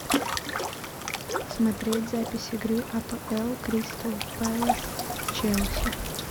смотреть запись игры апл кристалл пэлас челси